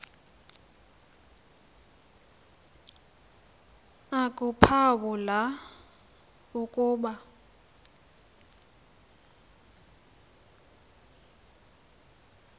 akuphawu la ukuba